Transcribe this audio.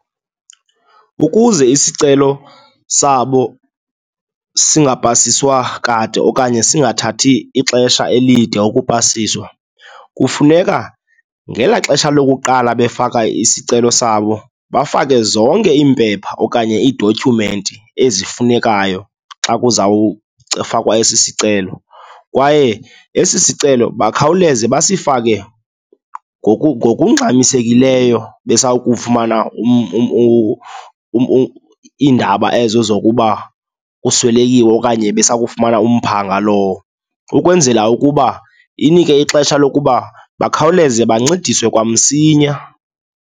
Ukuze isicelo sabo sigapasiswa kade okanye singathathi ixesha elide ukupasiswa, kufuneka ngelaa xesha lokuqala befaka isicelo sabo, bafake zonke iimpepha okanye iidotyhumenti ezifunekayo xa kuzawufakwa esi sicelo. Kwaye esi sicelo bakhawuleze basifake ngokungxamisekileyo besawukufumana iindaba ezo zokuba kuswelekiwe okanye besakufumana umphanga lowo, ukwenzela ukuba inike ixesha lokuba bakhawuleze bancediswe kwamsinya.